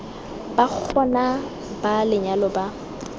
ba gona ba lenyalo ba